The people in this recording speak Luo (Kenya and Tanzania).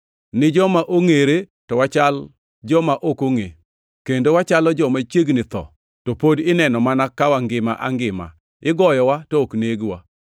ni joma ongʼere to wachal joma ok ongʼe, kendo wachalo joma chiegni tho, to pod ineno mana ka wangima angima, igoyowa to ok negwa;